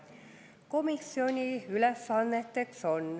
Komisjoni ülesanded on järgmised.